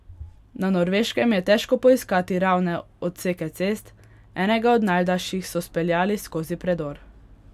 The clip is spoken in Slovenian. Na Norveškem je težko poiskati ravne odseke cest, enega od najdaljših so speljali skozi predor.